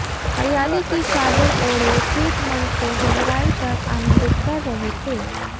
हरियाली की चादर ओढ़े खेत मन को गहराई तक आनंदित कर रहे थे